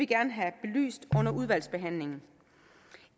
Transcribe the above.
gerne have belyst under udvalgsbehandlingen